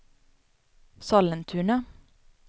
Sollentuna